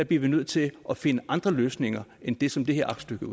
vi nødt til at finde andre løsninger end det som det her aktstykke